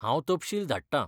हांव तपशील धाडटां.